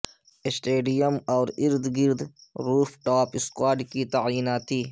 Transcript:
stadium اور ارد گرد روف ٹاپ اسکواڈ کی تعیناتی